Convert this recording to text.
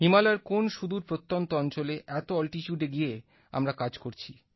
হিমালয়ের কোন সুদূর প্রত্যন্ত অঞ্চলে এত অল্টিচুডে গিয়ে আমরা কাজ করছি